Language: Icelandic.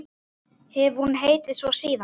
Hefur hún heitið svo síðan.